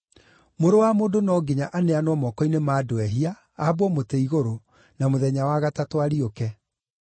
‘Mũrũ wa Mũndũ no nginya aneanwo moko-inĩ ma andũ ehia, aambwo mũtĩ-igũrũ, na mũthenya wa gatatũ ariũke.’ ”